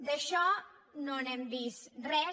d’això no n’hem vist res